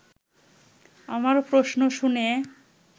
আমার প্রশ্ন শুনে